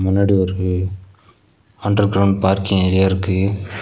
முன்னாடி ஒரு underground parking area இருக்கு.